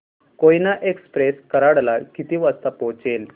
Koyna express Karad ला किती वाजता पोहचेल